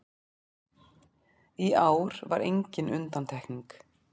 Í ár var engin undantekning